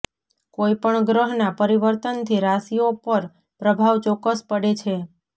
કોઈપણ ગ્રહના પરિવર્તનથી રાશિઓ પર પ્રભાવ ચોક્કસ પડે છે